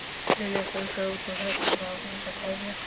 Lilja strunsaði út úr herberginu án þess að kveðja.